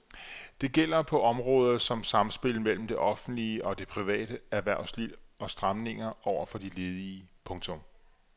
Det gælder på områder som samspil mellem det offentlige og det private erhvervsliv og stramninger over for de ledige. punktum